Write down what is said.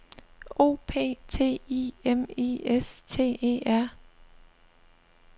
O P T I M I S T E R